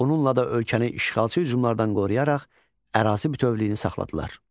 Bununla da ölkəni işğalçı hücumlardan qoruyaraq ərazi bütövlüyünü saxladılar.